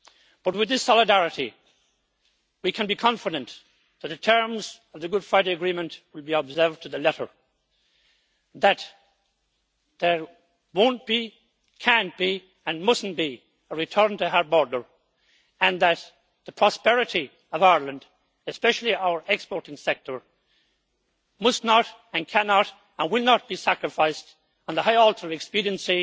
But with this solidarity we can be confident that the terms of the Good Friday Agreement will be observed to the letter, that there will not be, cannot be and must not be a return to a hard border and that the prosperity of Ireland, especially our exporting sector, must not and cannot and will not be sacrificed on the high altar of expediency